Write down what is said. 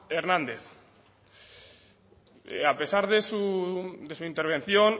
hernández a pesar de su intervención